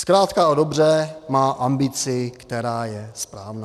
Zkrátka a dobře má ambici, která je správná.